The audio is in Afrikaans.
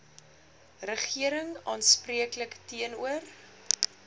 regering aanspreeklik teenoor